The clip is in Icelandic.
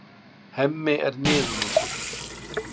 Hemmi er niðurlútur.